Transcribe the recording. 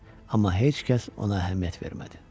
Amma heç kəs ona əhəmiyyət vermədi.